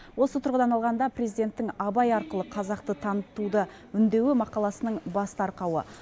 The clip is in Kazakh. осы тұрғыдан алғанда президенттің абай арқылы қазақты танытуды үндеуі мақаласының басты арқауы